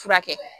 Furakɛ